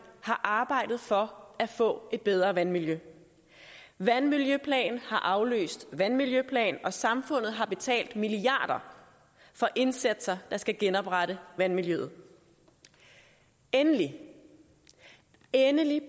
har arbejdet for at få et bedre vandmiljø vandmiljøplan har afløst vandmiljøplan og samfundet har betalt milliarder for indsatser der skal genoprette vandmiljøet og endelig endelig er